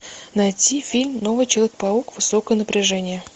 найти фильм новый человек паук высокое напряжение